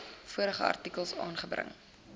vorige artikels aangebring